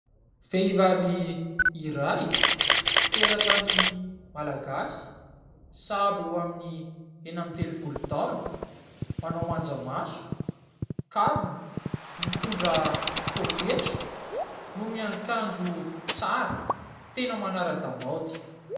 Vehivavy iray teratany malagasy sahabo eo aminy enina amby telopolo taona, manao manja maso, kavina, mitondra poketra no miakanjo tsara tena manara-damaody.